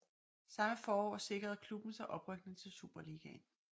Samme forår sikrede klubben sig oprykning til Superligaen